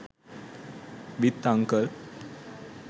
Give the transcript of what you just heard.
with uncle